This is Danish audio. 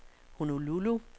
Honolulu